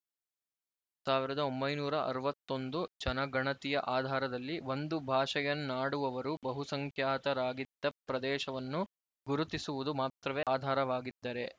ಸಾವಿರದ ಒಂಬೈನೂರ ಅರವತ್ತ್ ಒಂದು ಜನಗಣತಿಯ ಆಧಾರದಲ್ಲಿ ಒಂದು ಭಾಷೆಯನ್ನಾಡುವವರು ಬಹುಸಂಖ್ಯಾತರಾಗಿದ್ದ ಪ್ರದೇಶವನ್ನು ಗುರುತಿಸುವುದು ಮಾತ್ರವೆ ಆಧಾರವಾಗಿದ್ದರೆ